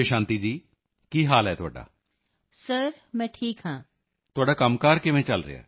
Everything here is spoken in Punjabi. ਇੰਨੇ ਥੋੜ੍ਹੇ ਸਮੇਂ ਚ ਤੁਸੀਂ 30 ਵਿਅਕਤੀਆਂ ਦੀ ਟੀਮ ਤੱਕ ਪਹੁੰਚ ਗਏ ਹੋ in such a short period you have reached 30 persons team